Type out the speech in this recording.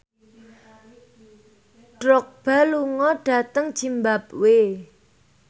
Drogba lunga dhateng zimbabwe